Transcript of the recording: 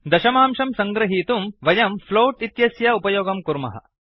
दशमांशं सङ्गृहीतुं वयं फ्लोट इत्यस्य उपयोगं कुर्मः